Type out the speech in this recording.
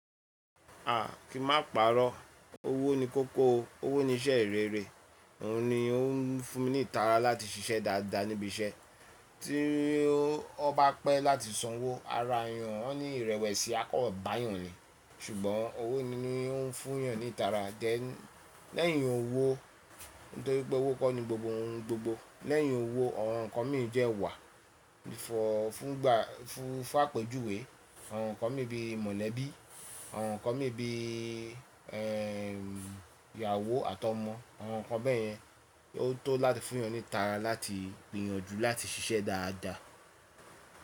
A! Kí ma pàrọ́, owó ni kókó o, owó ni iṣẹ́ rere, òun ni ó ń fún mi ní ìtara láti ṣiṣẹ́ dáadáa níbi iṣẹ́. Tí ó bá pẹ́ láti sanwó, ara èèyàn won ni ìrẹ̀wẹ̀sì á kan bá èèyàn ni. Ṣùgbọ́n owó ni ó ń fún èèyàn ní ìtara. Lẹ́yìn owó, nítorí pé owó kọ́ ni gbogbo ohun gbogbo. Lẹ́yìn owó, àwọn ǹkan min de wà fún àpèjúwe, àwọn ǹkan mii bí i mọ̀lẹ́bí, àwọn ǹkan mii bí ehn ìyàwó àtọmọ, àwọn ǹkan bẹ́ẹ̀ yẹn ni ó tó láti fún èèyàn ní ìtara láti gbìyànjú láti ṣiṣẹ́ dáadáa.